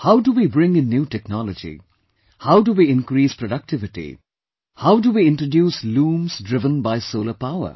How do we bring in new technology, how do we increase productivity, how do we introduce looms driven by solar power